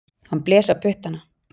Hann blés á puttana.